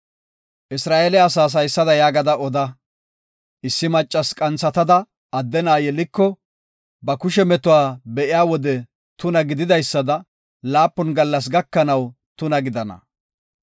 Isra7eele asaas haysada yaagada oda; “Issi maccasi qanthatada adde na7a yeliko, ba kushe metuwa be7iya wode tuna gideysada laapun gallas gakanaw tuna gidana.